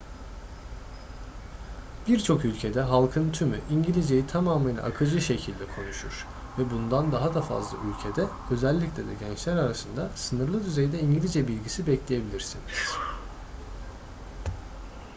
birçok ülkede halkın tümü i̇ngilizceyi tamamıyla akıcı şekilde konuşur ve bundan daha da fazla ülkede özellikle de gençler arasında sınırlı düzeyde i̇ngilizce bilgisi bekleyebilirsiniz